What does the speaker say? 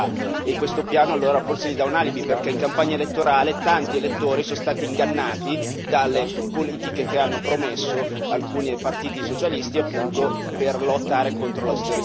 Questo piano forse dà loro un alibi, perché in campagna elettorale tanti elettori sono stati ingannati dalle politiche che hanno promesso alcuni partiti socialisti, appunto, per lottare contro l'austerità.